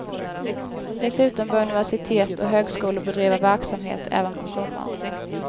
Dessutom bör universitet och högskolor bedriva verksamhet även på sommaren.